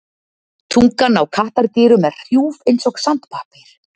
Tungan á kattardýrum er hrjúf eins og sandpappír.